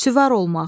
Süvar olmaq,